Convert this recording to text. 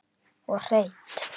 Og hreint.